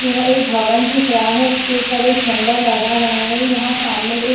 यहाँ एक भवन दिख रहा है इसके ऊपर एक झंडा लहरा रहा है यहाँ सामने एक --